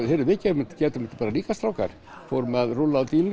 heyrðu við gætum þetta bara líka strákar fórum að rúlla